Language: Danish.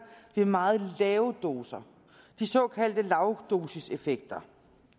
ved meget lave doser de såkaldte lavdosiseffekter